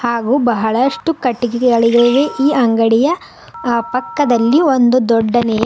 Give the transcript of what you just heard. ಹಾಗೂ ಬಹಳಷ್ಟು ಕಟ್ಟಿಗೆ ಗಳಿವೆ ಈ ಅಂಗಡಿಯ ಪಕ್ಕದಲ್ಲಿ ಒಂದು ದೊಡ್ಡನೆಯ--